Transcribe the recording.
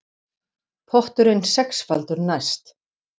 Potturinn sexfaldur næst